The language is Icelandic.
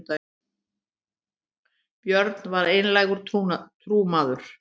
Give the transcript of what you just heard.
björn var einlægur trúmaður